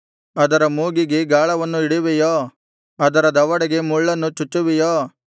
ಅದರ ಮೂಗಿಗೆ ಗಾಳವನ್ನು ಇಡುವೆಯೋ ಅದರ ದವಡೆಗೆ ಮುಳ್ಳನ್ನು ಚುಚ್ಚುವಿಯೋ